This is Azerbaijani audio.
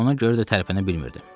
Ona görə də tərpənə bilmirdim.